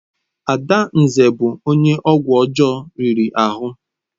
Adanze bụ onye ọgwụ ọjọọ riri ahụ.